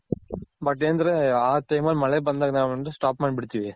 But ಏನಂದ್ರೆ ಆ time ಅಲ್ ಮಳೆ ಬಂದಾಗ stop ಮಾಡ್ ಬಿಡ್ತಿವಿ.